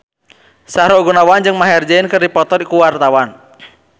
Sahrul Gunawan jeung Maher Zein keur dipoto ku wartawan